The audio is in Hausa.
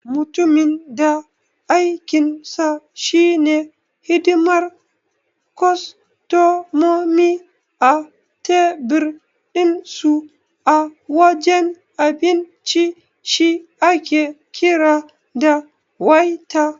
Mutumin da aikinsa shi ne hidimar kostomomi a tebir dinsu a wajen abinci shi ake kira da Waiter.